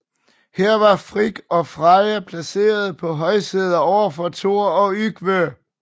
Her var Frigg og Freja placeret på højsæder overfor Thor og Yngve